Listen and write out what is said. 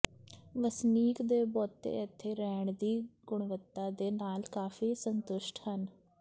ਵਸਨੀਕ ਦੇ ਬਹੁਤੇ ਇੱਥੇ ਰਹਿਣ ਦੀ ਗੁਣਵੱਤਾ ਦੇ ਨਾਲ ਕਾਫ਼ੀ ਸੰਤੁਸ਼ਟ ਹਨ